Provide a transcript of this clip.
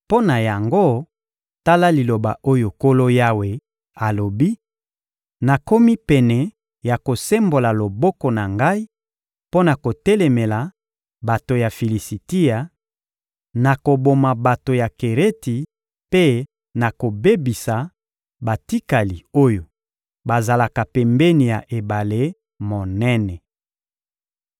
mpo na yango, tala liloba oyo Nkolo Yawe alobi: Nakomi pene ya kosembola loboko na Ngai mpo na kotelemela bato ya Filisitia; nakoboma bato ya Kereti mpe nakobebisa batikali oyo bazalaka pembeni ya ebale monene.